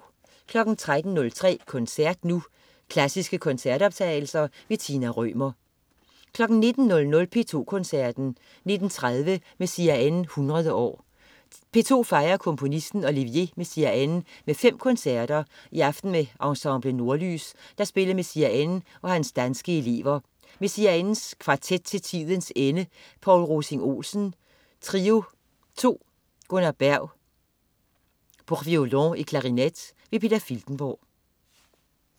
13.03 Koncert Nu. Klassiske koncertoptagelser. Tina Rømer 19.00 P2 Koncerten. 19.30 Messiaen 100 år. P2 fejrer komponisten Olivier Messiaen med fem koncerter, i aften med Ensemble Nordlys, der spiller Messiaen og hans danske elever. Messiaen: Kvartet til tidens ende. Poul Rovsing Olsen: Trio II. Gunnar Berg: Pour Violon et clarinette. Peter Filtenborg